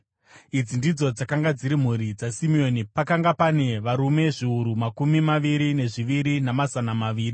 Idzi ndidzo dzakanga dziri mhuri dzaSimeoni; pakanga pane varume zviuru makumi maviri nezviviri namazana maviri.